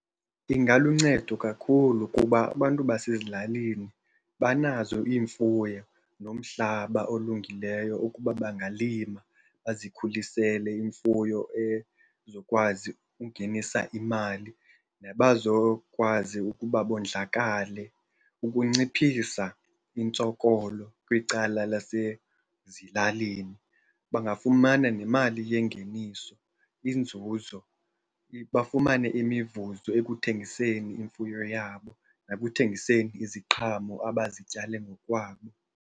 Ingaluncedo kakhulu kuba abantu basezilalini banazo iimfuyo nomhlaba olungileyo ukuba bangalima bazikhulisele imfuyo ezokwazi ukungenisa imali, nabazokwazi ukuba bondlakale ukunciphisa intsokolo kwicala lasezilalini. Bangafumana nemali yengeniso, inzuzo, bafumane imivuzo ekuthengiseni imfuyo yabo nekuthengiseni iziqhamo abazityale ngokwabo.